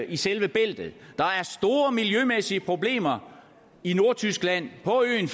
i selve bæltet der er store miljømæssige problemer i nordtyskland på øen